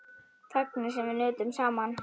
Þagnir sem við nutum saman.